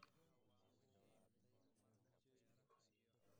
Dadku waxay u baahan yihiin aqoonsi si ay ugu biiraan xisbiyada.